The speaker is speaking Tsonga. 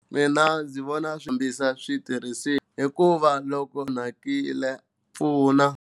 Mina ndzi vona swi fambisa switirhisiwa hikuva loko onhakile pfuna.